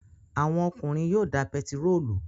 Àwọn ọkùnrin yóò da pẹtírólù